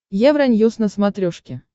евроньюс на смотрешке